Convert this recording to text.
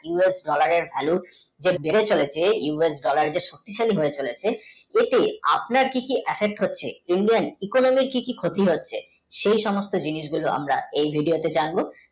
us dollar এর vallu যে বেড়ে চলেছে us dollar যে সকক্তি শালী হয়েচলেছে এতে আপনার কি কি affect হচ্ছে indian এ কি কি ক্ষতি হচ্ছে সেই সমুস্ত জিনিস গুলো আমরা এই video তে জানবো